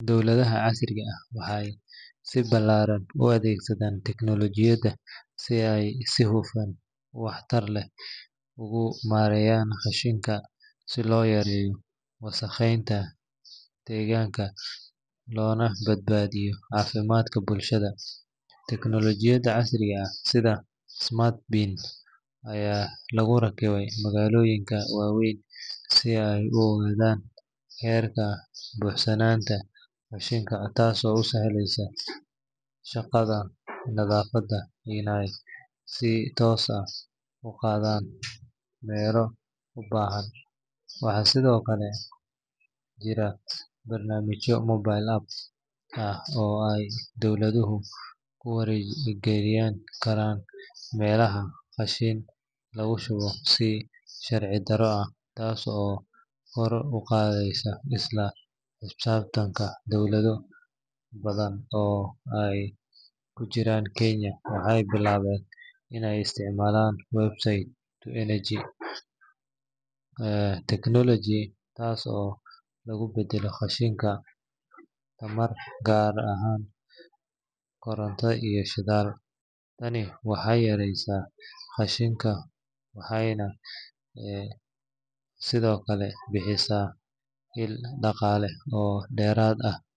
Dowladaha casriga ah waxay si ballaaran u adeegsanayaan tiknoolojiyadda si ay si hufan oo waxtar leh ugu maareeyaan qashinka si loo yareeyo wasakheynta deegaanka loona badbaadiyo caafimaadka bulshada. Teknoolojiyadda casriga ah sida smart bins ayaa lagu rakibay magaalooyinka waaweyn si ay u ogaadaan heerka buuxsanaanta qashinka taasoo u sahlaysa shaqaalaha nadaafadda inay si toos ah u qaadaan meelo u baahan. Waxaa sidoo kale jira barnaamijyo mobile app ah oo ay dadweynuhu ku wargelin karaan meelaha qashin lagu shubo si sharci darro ah, taas oo kor u qaadaysa isla xisaabtanka. Dowlado badan oo ay ku jirto Kenya waxay bilaabeen in ay isticmaalaan waste-to-energy technology taasoo lagu beddelo qashinka tamar, gaar ahaan koronto iyo shidaal. Tani waxay yareysaa qashinka, waxayna sidoo kale bixisaa il dhaqaale oo dheeraad ah.